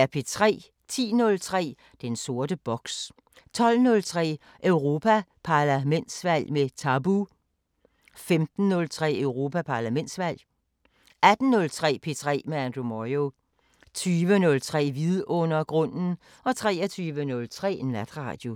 10:03: Den sorte boks 12:03: Europa-Parlamentsvalg med Tabu 15:03: Europa-Parlamentsvalg 18:03: P3 med Andrew Moyo 20:03: Vidundergrunden 23:03: Natradio